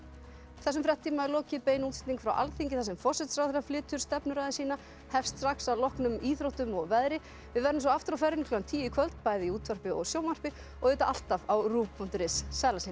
þessum fréttatíma er lokið bein útsending frá Alþingi þar sem forsætisráðherra flytur stefnuræðu sína hefst strax að loknum íþróttum og veðri við verðum svo aftur á ferðinni klukkan tíu í kvöld bæði í útvarpi og sjónvarpi og alltaf á punktur is sæl að sinni